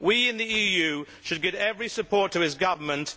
We in the EU should give every support to his government.